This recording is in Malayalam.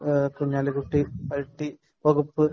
കുഞ്ഞാലിക്കുട്ടി ഐടി വകുപ്പ്